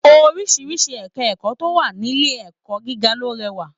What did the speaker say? Oríṣiríṣi ẹka ẹ̀kọ́ tó wà nílé ẹ̀kọ́ gíga ló rẹwà.